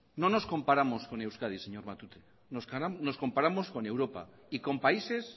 no nos comparamos con españa señor matute nos comparamos con europa y con países